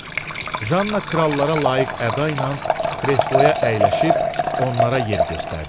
Janna krallara layiq əda ilə kresloya əyləşib onlara yer göstərdi.